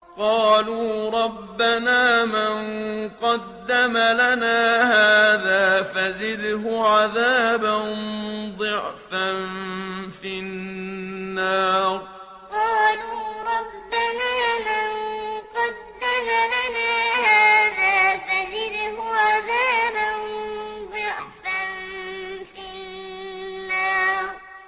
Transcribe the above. قَالُوا رَبَّنَا مَن قَدَّمَ لَنَا هَٰذَا فَزِدْهُ عَذَابًا ضِعْفًا فِي النَّارِ قَالُوا رَبَّنَا مَن قَدَّمَ لَنَا هَٰذَا فَزِدْهُ عَذَابًا ضِعْفًا فِي النَّارِ